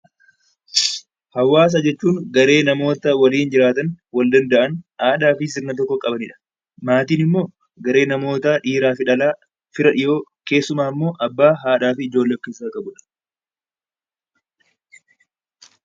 Hawaasa jechuun garee namoota waliin jiraatan, wal danda'an, aadaa fi sirna tokko qabani dha. Maatiin immoo garee namoota, dhiiraa fi dhalaa, fira dhiyoo, keessumaa immoo Abbaa, Haadha fu Ijoollee of keessaa qabu dha.